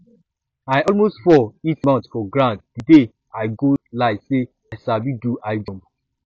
i almost fall hit mouth for ground the day i go lie say i sabi do high jump